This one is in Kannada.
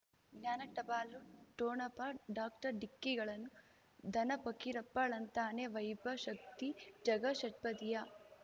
ಜ್ಞಾನ ಟಪಾಲು ಠೊಣಪ ಡಾಕ್ಟರ್ ಢಿಕ್ಕಿ ಗಳನು ಧನ ಫಕೀರಪ್ಪ ಳಂತಾನೆ ವೈಭವ್ ಶಕ್ತಿ ಝಗಾ ಷಟ್ಪದಿಯ